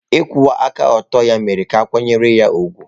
Ịkwụwa aka ọtọ ya mere ka a kwanyere ya ùgwù.